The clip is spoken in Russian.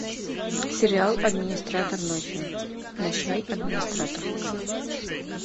сериал администратор ночью ночной администратор